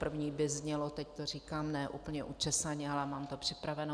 První by znělo - teď to říkám ne úplně učesaně, ale mám to připraveno.